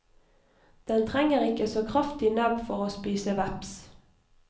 Den trenger ikke så kraftig nebb for å spise veps.